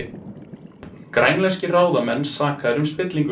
Grænlenskir ráðamenn sakaðir um spillingu